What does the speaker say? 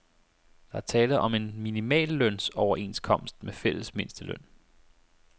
Der er tale om en minimallønsoverenskomst med fælles mindsteløn.